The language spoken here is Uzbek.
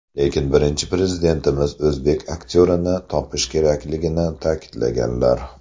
Lekin Birinchi Prezidentimiz o‘zbek aktyorini topish kerakligini ta’kidlaganlar.